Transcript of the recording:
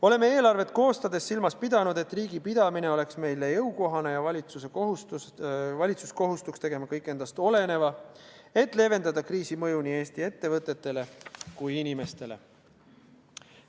Oleme eelarvet koostades silmas pidanud, et riigi pidamine oleks meile jõukohane ja valitsus kohustuks tegema kõik endast oleneva, et leevendada kriisi mõju nii Eesti ettevõtetele kui ka inimestele.